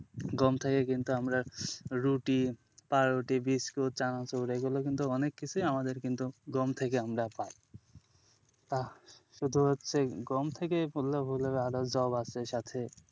গম থেকে কিন্তু আমরা রুটি পাউরুটি বিস্কুট চানাচুর এগুলো কিন্তু অনেক কিছুই আমাদের কিন্তু গম থেকে আমরা পাই তা শুধু হচ্ছে গম থেকে বললে ভুল হবে আরও যব আছে সাথে,